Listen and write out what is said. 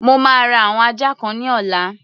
Mo máa ra àwọn ajá kan ní ọ̀la.